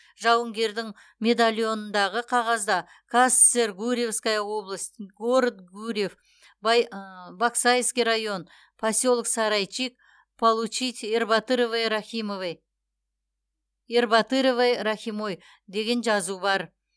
жауынгердің медальонындағы қағазда казсср гурьевская область город гурьев баксайский район поселок сарайчик получить ербатыровой рахимой деген жазу бар